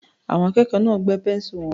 Àwọn akẹ́kọ̀ọ́ náà gbẹ́ pẹ́ńsù wọn.